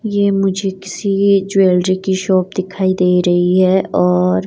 ये मुझे किसी ज्वेलरी की शॉप दिखाई दे रही है और--